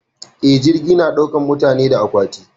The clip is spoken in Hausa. Eh, jirgi na daukar mutane da aƙwati.